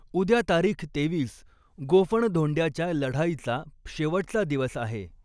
उद्या तारीख तेवीस गोफणधोंड्याच्या लढाईचा शेवटचा दिवस आहे.